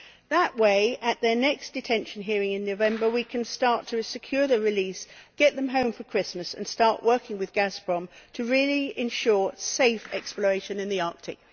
That way, at their next detention hearing in November, we can start to secure their release, get them home for Christmas and start working with Gazprom to really ensure safe exploration in the Arctic.